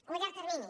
o a llarg termini